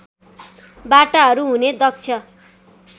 बाटाहरू हुने दक्ष